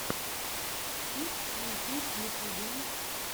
кит стьюпид в ютюбе